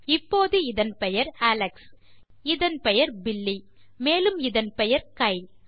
இப்போது இதன் பெயர் அலெக்ஸ் இதன் பெயர் பில்லி மேலும் இதன் பெயர் கைல்